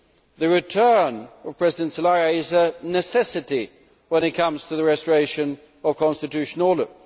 The return of President Zelaya is a necessity when it comes to the restoration of constitutional order.